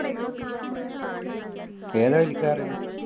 ഏതാ വലിക്കാറു?